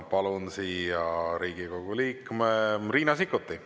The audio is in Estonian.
Palun siia Riigikogu liikme Riina Sikkuti.